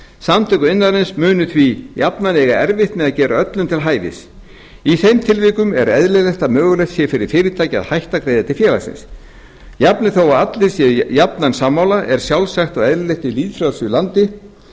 samtök iðnaðarins munu því jafnan eiga erfitt með að gera öllum til hæfis í þeim tilvikum er eðlilegt að mögulegt sé fyrir fyrirtæki að hætta að greiða til félagsins jafnvel þó að allir séu jafnan sammála er sjálfsagt og eðlilegt í lýðfrjálsu landi